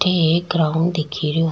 अठे एक ग्राउंड दिखे रो।